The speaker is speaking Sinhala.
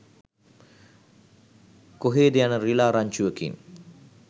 කොහේද යන රිළා රංචුවකින්